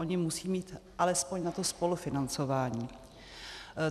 Ony musí mít alespoň na to spolufinancování.